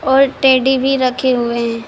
और टेडी भी रखे हुए है।